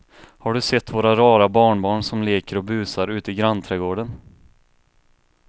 Har du sett våra rara barnbarn som leker och busar ute i grannträdgården!